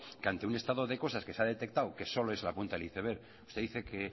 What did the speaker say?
que ante un estado de cosas que se ha detectado que solo es la punta del iceberg usted dice que